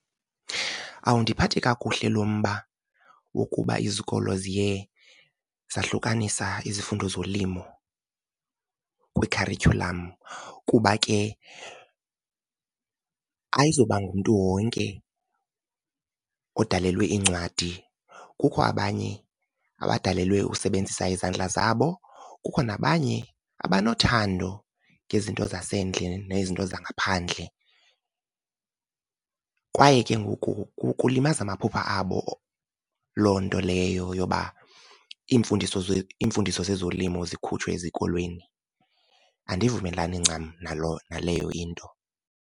Awundiphathi kakuhle lo mba wokuba izikolo ziye zahlukanisa izifundo zolimo kwikharityhulam, kuba ke ayizoba ngumntu wonke odalelwe iincwadi. Kukho abanye abadalelwe usebenzisa izandla zabo, kukho nabanye abanothando ngezinto zasendle nezinto zangaphandle, kwaye ke ngoku kulimaza amaphupha abo loo nto leyo yoba iimfundiso iimfundiso zezolimo zikhutshwe ezikolweni. Andivumelani ncam naleyo into.